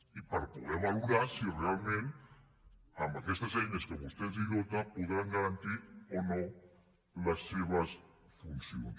i per poder valorar si realment amb aquestes eines de què vostè els dota podran garantir o no les seves funcions